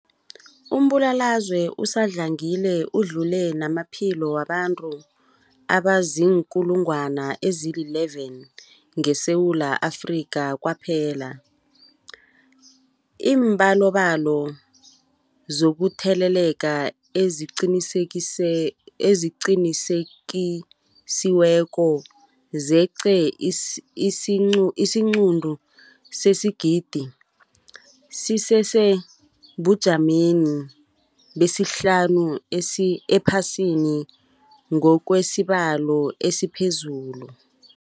Umbulalazwe usadlangile udlule namaphilo wabantu abaziinkulungwana ezi-11 ngeSewula Afrika kwaphela. Iimbalobalo zokutheleleka eziqinisekisiweko zeqe isiquntu sesigidi, sisesebujameni besihlanu ephasini ngokwesibalo esiphezulu.